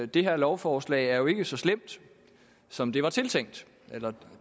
det her lovforslag ikke er så slemt som det var tiltænkt eller